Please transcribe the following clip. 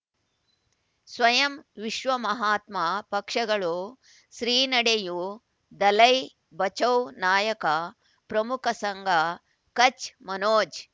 ಸ್ವಯಂ ವಿಶ್ವ ಮಹಾತ್ಮ ಪಕ್ಷಗಳು ಶ್ರೀ ನಡೆಯೂ ದಲೈ ಬಚೌ ನಾಯಕ ಪ್ರಮುಖ ಸಂಘ ಕಚ್ ಮನೋಜ್